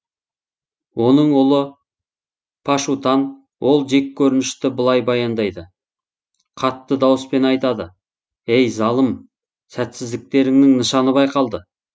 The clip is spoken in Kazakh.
оның ұлы пашутан ол жек көрінішті былай баяндайды қатты дауыспен айтады ей залым сәтсіздіктеріңнің нышаны байқалды